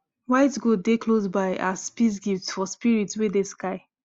white goat dey close by as peace gift for spirit wey dey sky